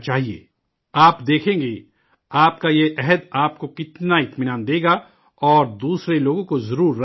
آپ دیکھیں گے، آپ کا یہ عہد آپ کو کتنا سکون دے گا، اور دوسرے لوگوں کو ضرور آمادہ کرے گا